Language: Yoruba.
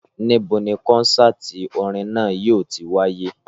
Níbo ni kọ́nsáàti orin náà yóò ti wáyé?